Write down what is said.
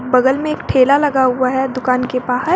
बगल में एक ठेला लगा हुआ है दुकान के बाहर।